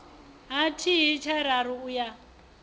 ha thihi tshararu u ya